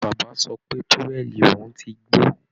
Bàbá sọ pé towel òun ti gbó